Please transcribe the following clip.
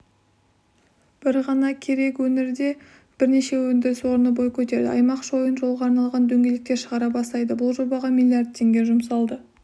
бір ғана кереку өңірінде бірнеше өндіріс орны бой көтереді аймақ шойын жолға арналған дөңгелектер шығара бастайды бұл жобаға миллиард теңге жұмсалады